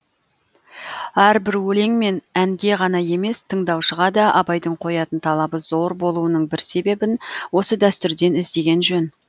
әрбір өлең мен әнге ғана емес тыңдаушыға да абайдың қоятын талабы зор болуының бір себебін осы дәстүрден іздеген жөн